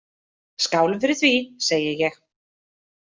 Skálum fyrir því, segi ég.